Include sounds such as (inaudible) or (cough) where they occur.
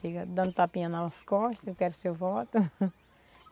Chega dando tapinha nas costas, eu quero seu voto. (laughs)